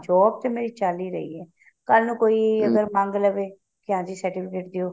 job ਤੇ ਮੇਰੀ ਚਲ ਹੀ ਰਹੀ ਹੈ ਕੱਲ ਨੂੰ ਕੋਈ ਅਗਰ ਮੰਗ ਲਵੇ ਕੇ ਹਾਂ ਜੀ certificate ਦਿਓ